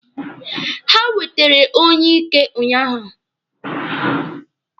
Ha wetere onyeike ụnyaahụ.